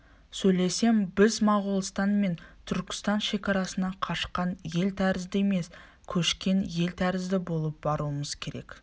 сөйлесем біз моғолстан мен түркістан шекарасына қашқан ел тәрізді емес көшкен ел тәрізді болып баруымыз керек